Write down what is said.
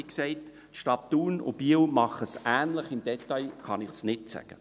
Wie gesagt, die Städte Thun und Biel machen es ähnlich, im Detail kann ich es nicht sagen.